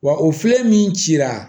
Wa o filɛ min cira